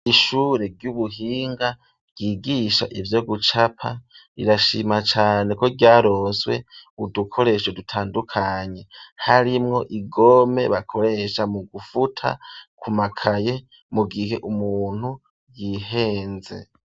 Ishure ry'ubuhinga ryigisha ivyo gucapa rirashima cane ko ryaroswe udukoresho dutandukanye harimwo igome bakoresha mu gufuta ku makaye mu gihe umuntu yihenze.